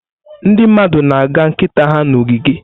Ndị mmadụ na-aga nkịta ha n'ogige.